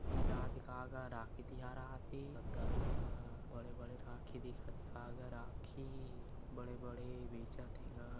बेचात हे का गा राखी तिहार आथे ददा आ--- बड़े-बड़े राखी दिखत हे का गा राखी बड़े-बड़े बेचत हे गा।